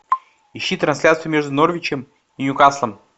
ищи трансляцию между норвичем и ньюкаслом